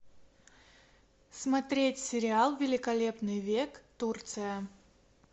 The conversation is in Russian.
смотреть сериал великолепный век турция